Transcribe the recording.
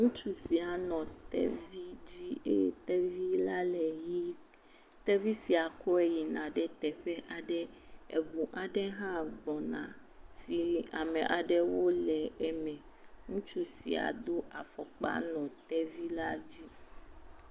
Ŋutsu sia nɔ tevi dzi eye tevi la le ɣie. Tevi sia kɔe yina ɖe teƒe aɖe. Eʋu aɖe hã gbɔna eye ŋutsuawo le eme. Ŋutsu do afɔkpa hele tevi la dzi.